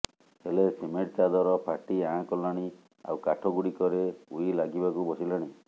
ହେଲେ ସିମେଣ୍ଟ ଚାଦର ଫାଟି ଆଁ କଲାଣି ଆଉ କାଠ ଗୁଡିକରେ ଉଇ ଲାଗିବାକୁ ବସିଲାଣି